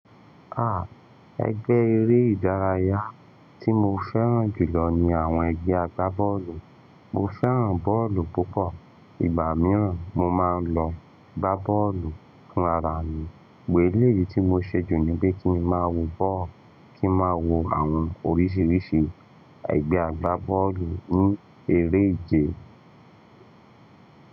Àh, ẹgbẹ́ eré ìdárayá tí mo fẹ́ràn jù lọ ni àwọn ẹgbẹ́ agbábọ́ọ̀lù. Mo fẹ́ràn bọ́ọ̀lù púpọ̀. Ìgbà mìíràn, mo máa ń lọ gbá bọ́ọ̀lù fún ara mi. Elèyí tí mo ṣe jù ni pé kíi ma wo bọ́ọ̀lù, kíi ma wo àwọn oríṣiríṣi ẹgbẹ́ agbá bọ́ọ̀lù ní eré ìje.